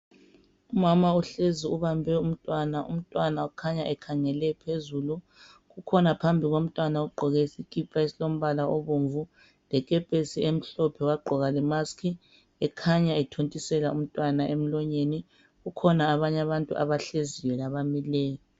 Umama uhlezi ebambe umntwana, umntwana ukhanya ekhangele phezulu kukhona phambi komntwana ogqoke isikipa esilombala obomvu lekepesi emhlophe wagqoka lemask ekhanya ethontisela umntwana emlonyeni kukhona abanye abantu abahleziyo labamileyo.